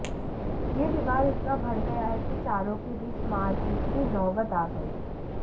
यह विवाद इतना बढ़ गया कि चारों के बीच मारपीट की नौबत आ गई